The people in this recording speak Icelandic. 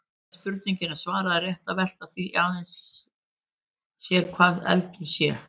Áður en spurningunni er svarað er rétt að velta því aðeins sér hvað eldur sé.